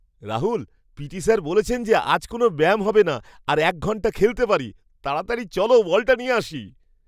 Rahul! P T sir বলেছেন যে আজ কোনও ব্যায়াম হবে না আর এক ঘন্টা খেলতে পারি! তাড়াতাড়ি চলো, বলটা নিয়ে আসি!